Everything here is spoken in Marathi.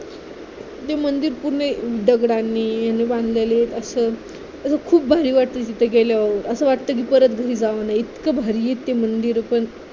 ते मंदिर पूर्ण दगडांनी बांधलेले आहे असं असं खूप भारी वाटत तिथं गेल्यावर असं वाटतं कि परत घरी जाऊ नये इतकं भारी आहे ते मंदिर पण